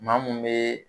Maa mun bɛ